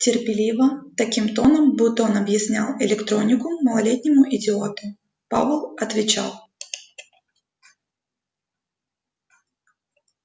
терпеливо таким тоном будто он объяснял электронику малолетнему идиоту пауэлл отвечал